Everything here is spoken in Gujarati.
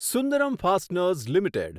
Sundaram fasteners limited